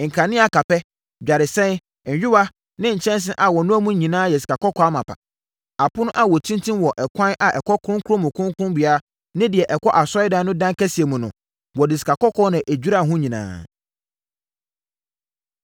nkanea akapɛ, dwaresɛn, nyowaa ne nkyɛnsee a wɔnoa mu no nyinaa yɛ sikakɔkɔɔ amapa; apono a wɔtintim wɔ ɛkwan a ɛkɔ Kronkron mu Kronkron ne deɛ ɛkɔ Asɔredan no dan kɛseɛ mu no, wɔde sikakɔkɔɔ na ɛduraa ho nyinaa.